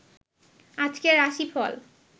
আজকের রাশিফল